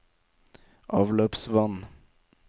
avløpsvann